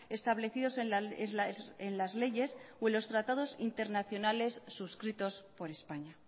establecidos en las leyes o en los tratados internacionales suscritos por españa